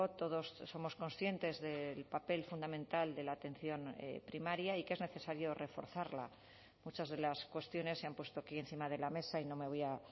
todos somos conscientes del papel fundamental de la atención primaria y que es necesario reforzarla muchas de las cuestiones se han puesto aquí encima de la mesa y no me voy a